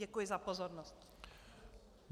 Děkuji za pozornost.